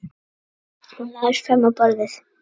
Hún lagðist fram á borðið.